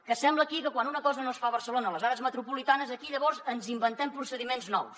que sembla aquí que quan una cosa no es fa a barcelona o a les àrees metropolitanes llavors ens inventem procediments nous